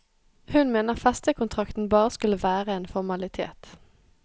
Hun mener festekontrakten bare skulle være en formalitet.